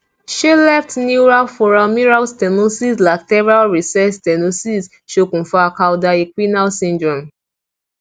se left neural foraminal stenosis lateral recess stenosis sokun fa cauda equina syndrome